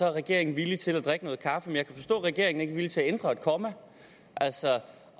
er regeringen villig til at drikke noget kaffe men jeg kan forstå at regeringen villig til at ændre et komma